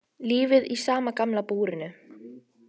Lífið í sama gamla búrinu.